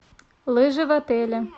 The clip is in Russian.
лыжи в отеле